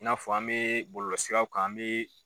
I n'a fɔ an bɛ bɔlɔlɔ siraw kan an bɛ